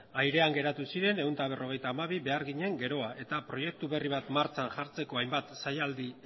airean geratu ziren ehun eta berrogeita hamabi beharginen geroa eta proiektu berri bat martxan jartzeko hainbat saialdi